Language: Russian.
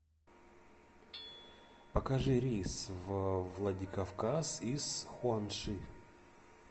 покажи рейс в владикавказ из хуанши